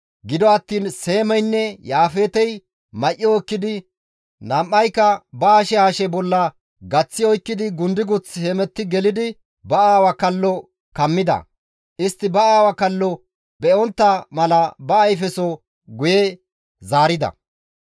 Gido attiin Seemeynne Yaafeetey may7o ekkidi nam7ayka ba hashe hashe bolla gaththi oykkidi gundiguth hemetti gelidi ba aawa kalloteth kammida; istti ba aawaa kalloteth be7ontta mala ba ayfeso guye zaarida.